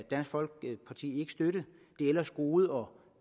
dansk folkeparti ikke støtte det ellers gode og